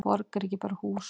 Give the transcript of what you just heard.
Borg er ekki bara hús.